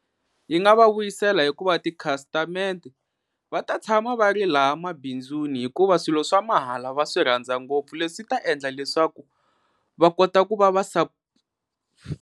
Yi nga va vuyisela hikuva tikhastamende va ta tshama va ri laha mabindzuni hikuva swilo swa mahala va swi rhandza ngopfu leswi ta endla leswaku va kota ku va va .